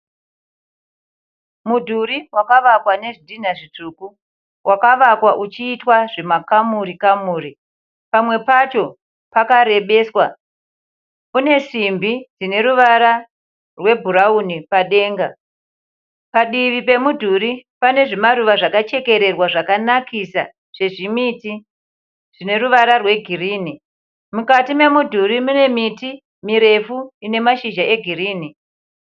Mudhuri wakavakwa nezvidhinha zvitsvuku. Wakavakwa uchiitwa zvimakamuri kamuri pamwe pacho pakarebeswa. Une simbi dzine ruvara rwebhurawuni padenga. Padivi pemudhuri pane zvimaruva zvakachekererwa zvakanakisa zvezvimiti zvine ruvara rwegirinhi. Mukati memudhuri mune miti mirefu ine mashizha egirinhi.